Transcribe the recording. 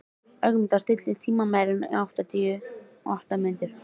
Ögmunda, stilltu tímamælinn á áttatíu og átta mínútur.